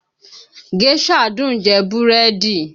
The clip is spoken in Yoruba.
Géșà dùn ún jẹ búrẹ́dì